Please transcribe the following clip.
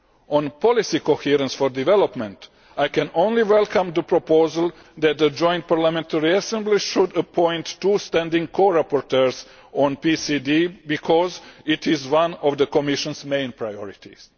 On policy coherence for development I can only welcome the proposal that the Joint Parliamentary Assembly should appoint two standing co rapporteurs on PCD because it is one of the Commission's main priorities.